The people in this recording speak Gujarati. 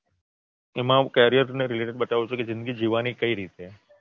એના હું Carrear ને Related બતાવું છું અને જિંદગી જીવવાની કઈ રીતે